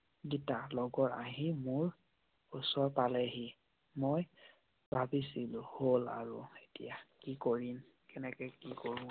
লগৰ আহি মোৰ ওচৰ পালেহি। মই ভাবিছিলো হল আৰু এতিয়া। কি কৰিম? কেনেকৈ কি কৰো আৰু